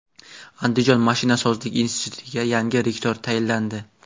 Andijon mashinasozlik institutiga yangi rektor tayinlandi.